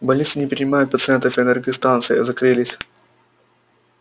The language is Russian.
больницы не принимают пациентов энергостанции закрылись